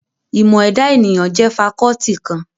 Ìmọ̀ ẹ̀dà ènìyàn jẹ́ fakọ́ọ́tì kan.